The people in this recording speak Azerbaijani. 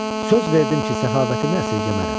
Söz verdim ki, səxavətimi əsirgəmərəm.